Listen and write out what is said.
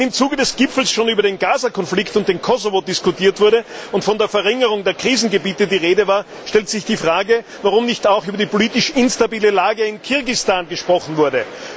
Wenn im Zuge des Gipfels schon über den Gaza Konflikt und den Kosovo diskutiert wurde und von der Verringerung der Krisengebiete die Rede war, stellt sich Frage, warum nicht auch über die politisch instabile Lage in Kirgisistan gesprochen wurde.